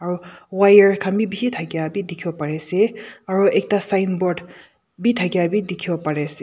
aru wire khan bi bishi thakia bi dikhiwo pari ase aru ekta signboard bi thakia bi dikhibi pari ase.